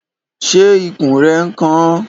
Ṣé ikùn rẹ n kan ọ?